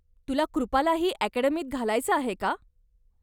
तुला कृपालाही अकॅडमीत घालायचं आहे का?